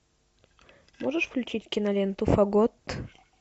можешь включить киноленту фагот